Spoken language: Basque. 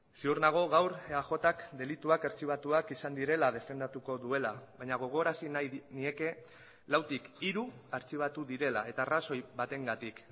ziur nago gaur eajk delituak artxibatuak izan direla defendatuko duela baina gogorarazi nahi nieke lautik hiru artxibatu direla eta arrazoi batengatik